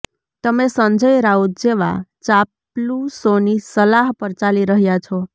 તમે સંજય રાઉત જેવા ચાપલૂસોની સલાહ પર ચાલી રહ્યા છો